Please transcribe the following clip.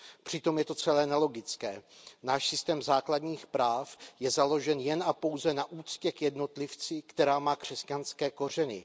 Přitom je to celé nelogické, náš systém základních práv je založen jen a pouze na úctě k jednotlivci, která má křesťanské kořeny.